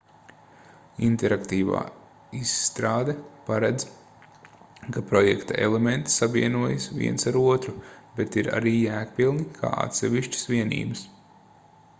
interaktīva izstrāde paredz ka projekta elementi savienojas viens ar otru bet ir arī jēgpilni kā atsevišķas vienības